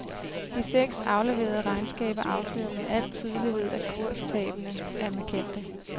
De seks afleverede regnskaber afslører med al tydelighed, at kurstabene er markante.